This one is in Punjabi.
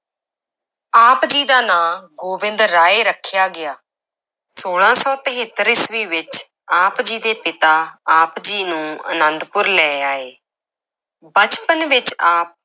ਆਪ ਜੀ ਦਾ ਨਾਂ ਗੋਬਿੰਦ ਰਾਏ ਰੱਖਿਆ ਗਿਆ, ਛੋਲਾਂ ਸੌ ਤਹੇਤਰ ਈਸਵੀ ਵਿੱਚ ਆਪ ਜੀ ਦੇ ਪਿਤਾ ਆਪ ਜੀ ਨੂੰ ਅਨੰਦਪੁਰ ਲੈ ਆਏ ਬਚਪਨ ਵਿੱਚ ਆਪ